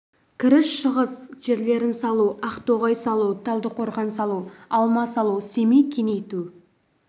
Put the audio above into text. кіріс-шығыс жерлерін салу ақтоғай салу талдықорған салу алма салу семей кеңейту